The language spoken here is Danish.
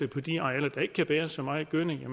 på de arealer der ikke kan bære så meget gødning